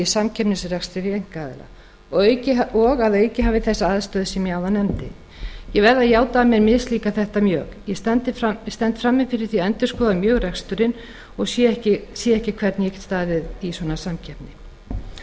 í samkeppnisrekstri við einkaaðila og hafi að auki þá aðstöðu sem ég nefndi áðan ég verð að játa að mér mislíkar þetta mjög ég stend frammi fyrir því að endurskoða mjög reksturinn og sé ekki hvernig ég get staðið í svona samkeppni í